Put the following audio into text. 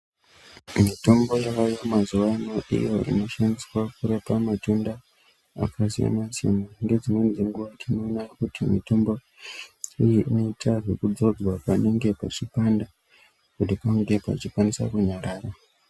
Mitombo yona ye mazuva ano iyo ino shandiswa kurapa matenda aka siyana siyana nge dzimweni dzenguva tino ona kuti mitombo iyi inoita zveku dzodzwa panonge pachi panda kuti pange pachi kwanisa kunyarara.